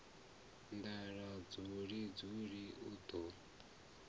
nḓala dzuli dzuli u ḓo